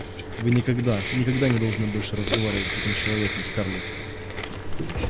вы никогда никогда никогда не должны больше разговаривать с этим человеком скарлетт